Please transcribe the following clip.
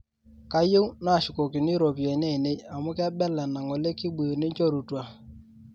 kayieu naashukokini ropiyani ainei amu kebela enangole kibuyu ninchorutua